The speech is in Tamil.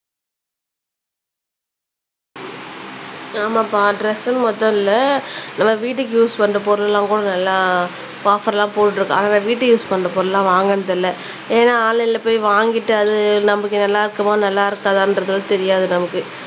ஆமாப்பா ட்ரெஸ்சுன்னு மட்டும் இல்ல நம்ம வீட்டுக்கு யூஸ் பண்ற பொருள்லாம் கூட நல்லா ஆஃப்ஃபர்லாம் போட்டுட்டு இருக்கான் ஆனா நான் வீட்டுக்கு யூஸ் பண்ற பொருள்லாம் வாங்குனது இல்ல ஏனா ஆன்லைன்ல போய் வாங்கிட்டு அது நமக்கு நல்லா இருக்குமோ நல்லா இருக்காதான்றதும் தெரியாது நமக்கு